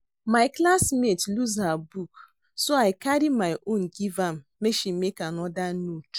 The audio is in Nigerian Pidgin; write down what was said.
My classmate lose her book so I carry my own give am make she make another note